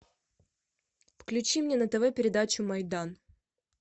включи мне на тв передачу майдан